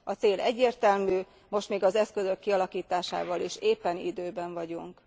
A cél egyértelmű, most még az eszközök kialakításával is éppen időben vagyunk.